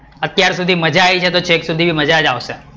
અત્યાર સુધી મજા આયી છે તો તો છેક સુધી મજા આવશે